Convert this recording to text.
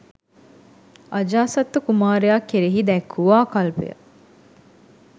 අජාසත්ත කුමාරයා කෙරෙහි දැක් වූ ආකල්පය